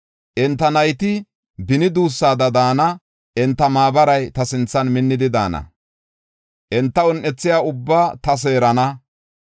Enta nayti beni duussaada daana; enta maabaray ta sinthan minnidi daana. Enta un7ethiya ubbaa ta seerana.